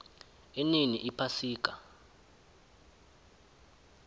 inini iphasika